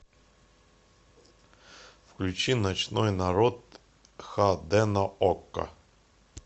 включи ночной народ хд на окко